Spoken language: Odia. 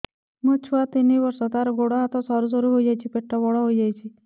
ମୋ ଛୁଆ ତିନି ବର୍ଷ ତାର ଗୋଡ ହାତ ସରୁ ହୋଇଯାଉଛି ପେଟ ବଡ ହୋଇ ଯାଉଛି